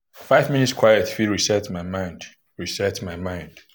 five minutes quiet fit reset my mind. reset my mind. um